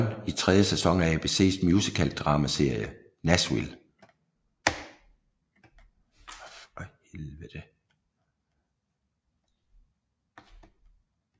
John i tredje sæson af ABCs musical dramaserie Nashville